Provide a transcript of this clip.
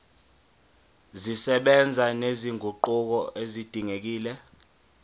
zisebenza nezinguquko ezidingekile